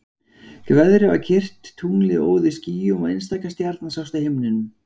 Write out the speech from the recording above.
Veðrið var kyrrt, tunglið óð í skýjum og einstaka stjarna sást á himninum.